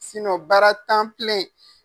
baara tan